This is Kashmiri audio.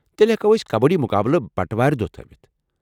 تیٚلہ ہٮ۪کو أسۍ کبٲڈی مقابلہٕ بٹہٕ وار دۄہ تھٲوِتھ ۔